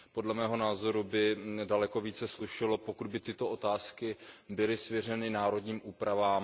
Podle mého názoru by se daleko více slušelo, pokud by tyto otázky byly svěřeny národním úpravám.